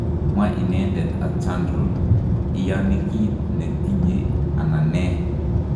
Kamwa inendet @Chandral_ � iyani kiit netinye anan nee?�